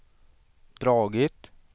dragit